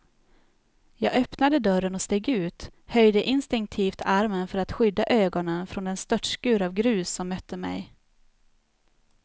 Jag öppnade dörren och steg ut, höjde instinktivt armen för att skydda ögonen från den störtskur av grus som mötte mig.